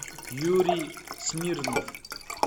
юрий смирнов